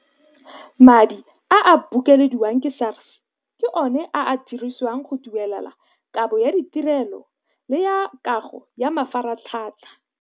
Madi a a bokelediwang ke SARS ke ona a a dirisiwang go duelela kabo ya ditirelo le ya kago ya mafaratlhatlha.